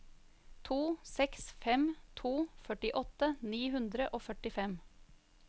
to seks fem to førtiåtte ni hundre og førtifem